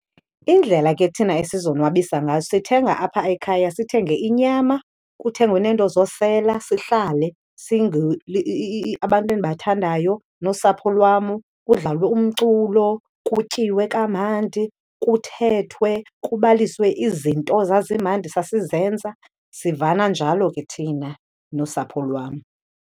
Indlela ke thina esizonwabisa ngazo sithenga apha ekhaya sithenge inyama, kuthengwe neento zosela, sihlale abantu endibathandayo nosapho lwam kudlalwe umculo, kutyiwe kamandi, kuthethwe, kubaliswe izinto zazimandi sasizenza. Sivana njalo ke thina nosapho lwam.